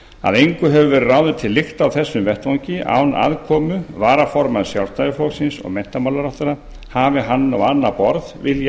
að engu hefur verið ráðið til lykta á þessum vettvangi án aðkomu varaformanns sjálfstæðisflokksins og menntamálaráðherra hafi hann á annað borð viljað hafa